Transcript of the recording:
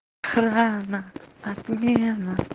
охрана отмена